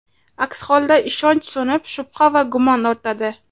Aks holda ishonch so‘nib, shubha va gumon ortadi.